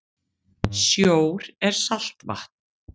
Sjór er saltvatn.